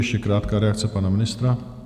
Ještě krátká reakce pana ministra.